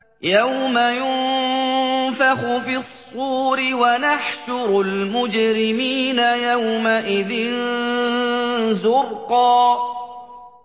يَوْمَ يُنفَخُ فِي الصُّورِ ۚ وَنَحْشُرُ الْمُجْرِمِينَ يَوْمَئِذٍ زُرْقًا